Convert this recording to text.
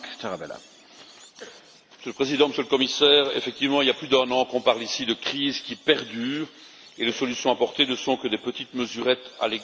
Monsieur le Président, Monsieur le Commissaire, effectivement, il y a plus d'un an qu'on parle ici de cette crise qui perdure, et les solutions apportées ne sont que des mesurettes au regard de l'ampleur du problème.